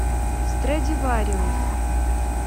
страдивариус